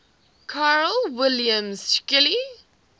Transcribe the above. carl wilhelm scheele